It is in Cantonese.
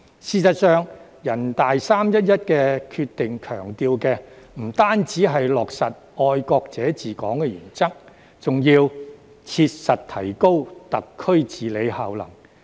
事實上，人大"三一一"決定強調的，不單是落實"愛國者治港"原則，還要"切實提高特區治理效能"。